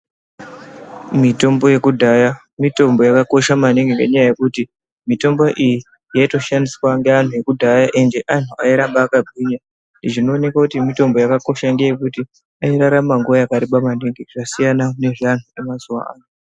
Mitombo yekudhaya mitombo yakakosha maningi ngenyaya yekuti mitombo iyi yaitoshandiswa ngeantu ekudhaya ende antu airamba akagwinya . Zvinoonekwa kuti mitombo yakakosha ngeyekuti airarama nguwa yakareba maningi zvasiyana ngezveantu emazuwano .